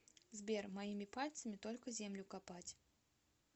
сбер моими пальцами только землю копать